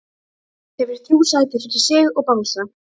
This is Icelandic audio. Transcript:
Hefur þrjú sæti fyrir sig og bangsa.